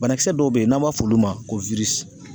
Banakisɛ dɔw bɛ yen n'an b'a fɔ olu ma ko